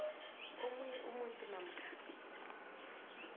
omunye umuntu namkha